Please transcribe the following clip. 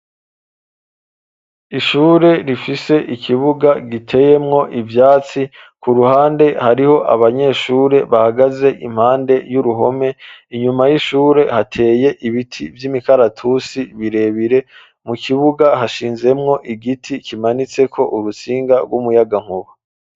Ishure rifise ikibuga giteyemwo ivyatsi ku ruhande hariho abanyeshure bahagaze impande y'uruhome inyuma y'ishure hateye ibiti vy'imikaratusi birebire mu kibuga hashinzemwo igiti kimanitse ko urusinga rw'umuyagankuba.